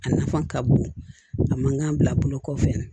A nafa ka bon a man kan bila a bolo kɔfɛ